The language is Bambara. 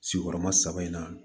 Sigiyɔrɔma saba in na